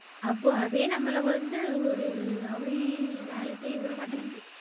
அப்போ அதே நம்மள வந்து ஒரு அப்படி வேல செய்ய விடமாட்டிங்குது.